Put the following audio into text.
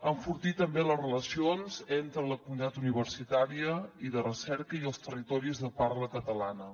enfortir també les relacions entre la comunitat universitària i de recerca i els territoris de parla catalana